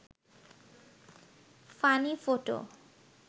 funny photo